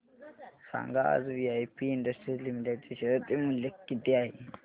सांगा आज VIP industries limited चे शेअर चे मूल्य किती आहे